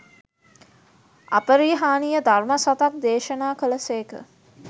අපරිහානීය ධර්ම සතක් දේශනා කළ සේක.